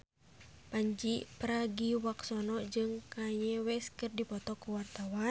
Pandji Pragiwaksono jeung Kanye West keur dipoto ku wartawan